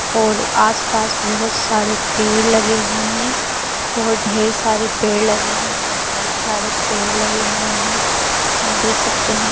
और आस पास बोहोत सारे पेड़ लगे हुए हैं। बोहोत ढेर सारे पेड़ लगे हैं बोहोत बोहोत साड़े पेड़ लगे हुए हैं हम देख सकते हैं।